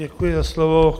Děkuji za slovo.